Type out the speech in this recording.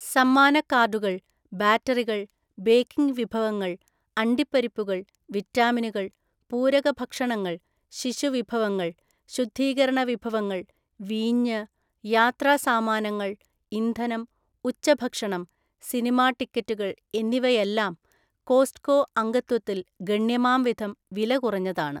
സമ്മാന കാർഡുകൾ, ബാറ്ററികൾ, ബേക്കിംഗ് വിഭവങ്ങള്‍, അണ്ടിപ്പരിപ്പുകള്‍, വിറ്റാമിനുകൾ, പൂരക ഭക്ഷണങ്ങള്‍, ശിശു വിഭവങ്ങള്‍, ശുദ്ധീകരണ വിഭവങ്ങള്‍, വീഞ്ഞ്, യാത്രാസാമാനങ്ങള്‍, ഇന്ധനം, ഉച്ചഭക്ഷണം, സിനിമാ ടിക്കറ്റുകൾ എന്നിവയെല്ലാം കോസ്റ്റ്‌കോ അംഗത്വത്തിൽ ഗണ്യമാം വിധം വില കുറഞ്ഞതാണ്.